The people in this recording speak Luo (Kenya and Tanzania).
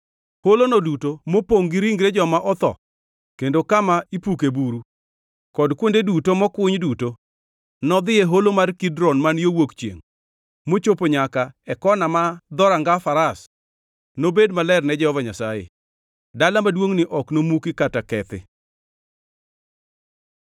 Holono duto mopongʼ gi ringre joma otho kendo kama ipuke buru, kod kuonde duto mokuny duto, nodhi e Holo mar Kidron man yo wuok chiengʼ mochopo nyaka e kona ma Dhoranga Faras, nobed maler ne Jehova Nyasaye. Dala maduongʼni ok nomuki kata kethi.”